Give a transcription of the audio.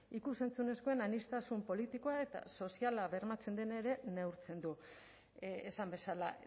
ikus entzunezkoen aniztasun politikoa eta soziala bermatzen den ere neurtzen du esan bezala